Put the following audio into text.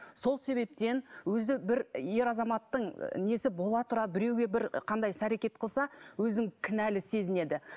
сол себептен өзі бір ер азаматтың несі бола тұра біреуге бір қандай іс әрекет қылса өзін кінәлі сезінеді